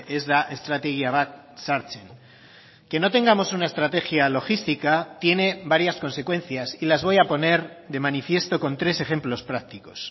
ez da estrategia bat sartzen que no tengamos una estrategia logística tiene varias consecuencias y las voy a poner de manifiesto con tres ejemplos prácticos